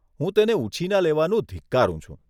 હું તેને ઉછીના લેવાનું ધિક્કારું છું.